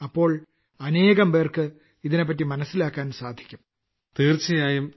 അപ്പോൾ അനേകംപേർക്ക് ഇതിനെപ്പറ്റി മനസ്സിലാക്കാൻ സാധിക്കും